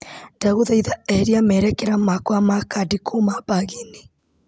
Ndagũthaitha eheria merekera makwa ma kandi kuma bagi-inĩ.